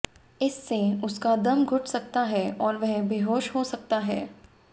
इससे उसका दम घुट सकता है और वह बेहोश हो सकता है